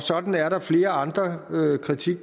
sådan er der flere andre